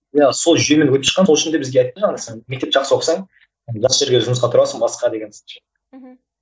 иә сол жүйені сол үшін де бізге айтқан мектепті жақсы оқысаң жақсы жерге жұмысқа тұрасың басқа деген мхм